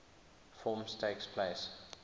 forms takes place